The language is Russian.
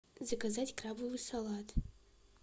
заказать крабовый салат